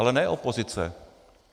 Ale ne opozice.